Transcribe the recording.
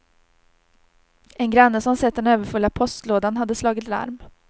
En granne som sett den överfulla postlådan hade slagit larm.